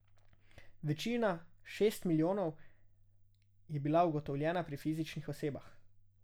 Večina, šest milijonov, je bila ugotovljena pri fizičnih osebah.